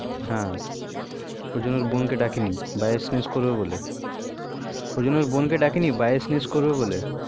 হু ওই ওরজন্য বোনকে ডাকেনি ভাই SMS করবে বলে ওরজন্য বোনকে ডাকেনি ভাই SMS করবে বলে